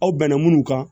Aw bɛnna minnu kan